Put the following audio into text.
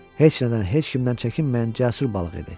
Heç nədən, heç kimdən çəkinməyən cəsur balıq idi.